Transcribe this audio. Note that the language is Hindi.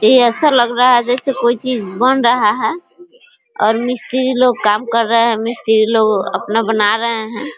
ये ऐसा लग रहा है जैसे कोई चीज बन रहा है और मिस्त्री लोग काम कर रहे हैं मिस्त्री लोग अपना बना रहे हैं |